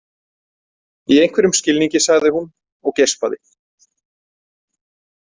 Í einhverjum skilningi, sagði hún og geispaði.